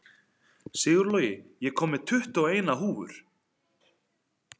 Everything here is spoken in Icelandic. Sigurlogi, ég kom með tuttugu og eina húfur!